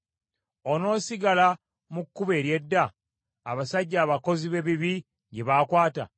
Onoosigala mu kkubo ery’edda abasajja abakozi b’ebibi lye baakwata?